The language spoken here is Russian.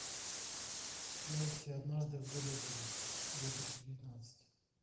найти однажды в голливуде две тысячи девятнадцать